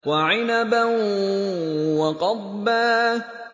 وَعِنَبًا وَقَضْبًا